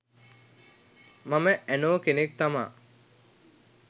මම ඇනෝ කෙනෙක් තමා